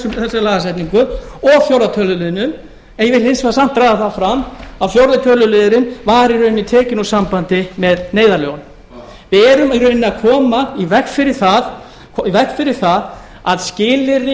með þessari lagasetningu og fjórða töluliðnum en ég vil hins vegar samt draga það fram að fjórða töluliðurinn var í rauninni tekinn úr sambandi með neyðarlögunum við erum í rauninni að koma í veg fyrir það að skilyrði